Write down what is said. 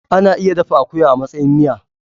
Ana iya dafa akuya a matsayin miya.